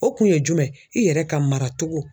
O kun ye jumɛn, i yɛrɛ ka mara cogo